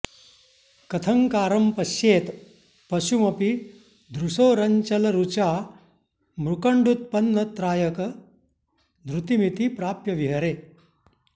कथङ्कारं पश्येत् पशुमपि दृशोरञ्चलरुचा मृकण्डूत्पन्नत्रायक धृतिमिति प्राप्य विहरे